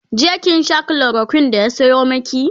jiya kin Sha chloroquine da ya Sayo maki?